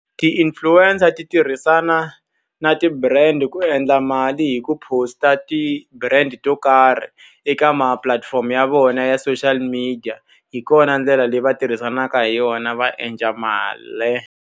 Ti-influencer ti tirhisana na ti-brand ku endla mali hi ku post-a ti-brand to karhi eka mapulatifomo ya vona ya social media. Hi kona ndlela leyi va tirhisanaka hi yona va endla mali.